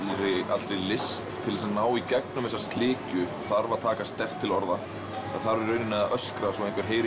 allri list til þess að ná í gegnum þessa slikju þarf að taka sterkt til orða það þarf að öskra svo að einhver heyri